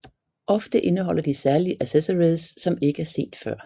Ofte indeholder de særlige accessories som ikke er set før